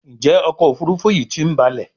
Njé ọkọ̀ òfurufú yi tí ń balè?